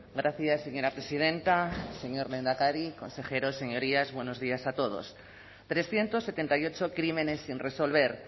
gracias señora presidenta señor lehendakari consejeros señorías buenos días a todos trescientos setenta y ocho crímenes sin resolver